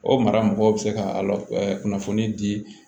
O mara mɔgɔw bɛ se ka kunnafoni di